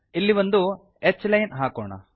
ಇಲ್ಲಿ ಒಂದು h line ಹಾಕೋಣ